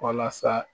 Walasa